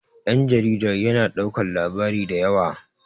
danjaridar yana daukar labari da waya